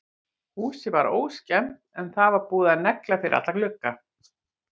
Húsið var óskemmt en það var búið að negla fyrir alla glugga.